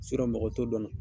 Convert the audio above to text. mɔgɔ t'o dɔn na.